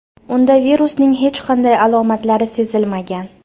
Unda virusning hech qanday alomatlari sezilmagan.